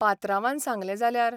पात्रांवान सागलें जाल्यार?